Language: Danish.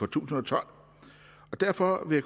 tusind og tolv derfor vil